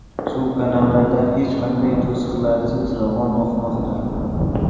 Suv kanallardan hech qanday to‘siqlarsiz ravon oqmoqda.